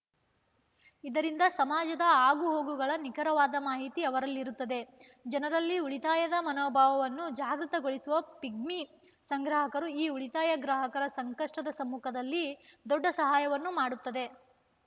ಇದರಿಂದ ಸಮಾಜದ ಆಗುಹೋಗುಗಳ ನಿಖರವಾದ ಮಾಹಿತಿ ಅವರಲ್ಲಿರುತ್ತದೆ ಜನರಲ್ಲಿ ಉಳಿತಾಯದ ಮನೋಭಾವವನ್ನು ಜಾಗೃತಗೊಳಿಸುವ ಪಿಗ್ಮಿ ಸಂಗ್ರಾಹಕರು ಈ ಉಳಿತಾಯ ಗ್ರಾಹಕರ ಸಂಕಷ್ಟದ ಸಮುಕದಲ್ಲಿ ದೊಡ್ಡ ಸಹಾಯವನ್ನು ಮಾಡುತ್ತದೆ